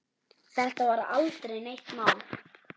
Þetta var aldrei neitt mál.